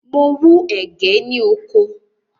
Mo wú ẹ̀gẹ́ ní oko.